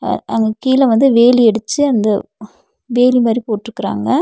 அ அங்க கிழ வந்து வேலி அடிச்சி அந்த வேலி மாரி போட்ருக்காங்க.